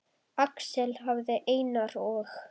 Axel hafði Einar og